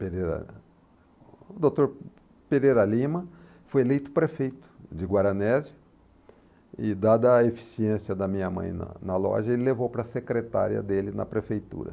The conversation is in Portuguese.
Pereira... O doutor Pereira Lima foi eleito prefeito de Guaranésia e, dada a eficiência da minha mãe na na loja, ele levou para a secretária dele na prefeitura.